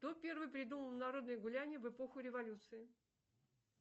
кто первый придумал народные гуляния в эпоху революции